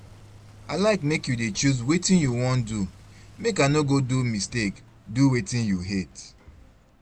I like make you dey choose wetin you wan do make I no go do mistake do wetin you hate